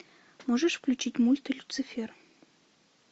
можешь включить мульт люцифер